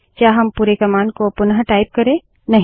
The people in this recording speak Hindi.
क्या हम पुरे कमांड को पुनटाइप करे160